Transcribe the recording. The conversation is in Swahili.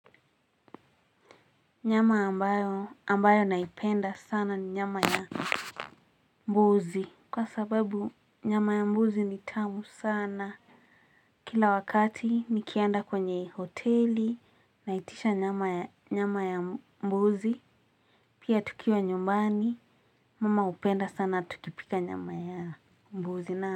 Nyama ambayo ambayo naipenda sana ni nyama ya mbuzi. Kwa sababu nyama ya mbuzi ni tamu sana. Kila wakati nikienda kwenye hoteli naitisha nyama ya mbuzi. Pia tukiwa nyumbani mama hupenda sana tukipika nyama ya mbuzi na.